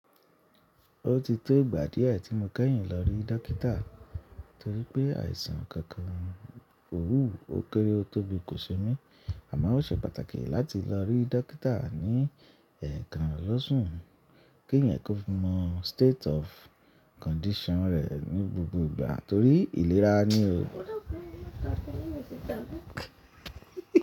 Ó ti tó ìgbà díẹ̀ tí mo kẹ́yìn lọ rí dókítà torí pé àìsàn kankan ò wù, ó kéré ó tó bí kò ṣe mí. Àmọ́ ó ṣe pàtàkì láti lọ rí dókítà ní ẹ̀ẹ̀kan lósùn kí ẹ̀yàn kó mọ state of condition rẹ̀ ní gbogbo ìgbà torí ìlera ni o.